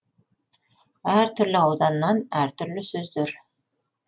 әр түрлі ауданнан әр түрлі сөздер